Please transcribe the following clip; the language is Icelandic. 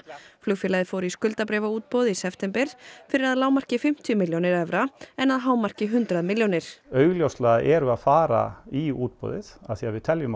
flugfélagið fór í skuldabréfaútboð í september fyrir að lágmarki fimmtíu milljónir evra en hámarki hundrað milljónir augljóslega erum við að fara í útboðið af því að við teljum